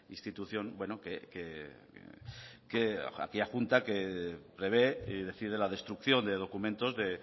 institución aquella junta que prevé y decide la destrucción de documentos de